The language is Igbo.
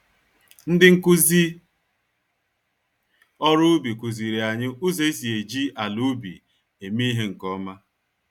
Ndị nkụzi ọrụ ubi kuziri anyị ụzọ esi eji àlà-ubi eme ìhè nke ọma.